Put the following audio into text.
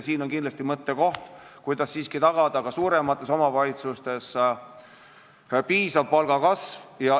Seega on kindlasti mõttekoht, kuidas siiski tagada ka suuremates omavalitsustes piisav palgakasv.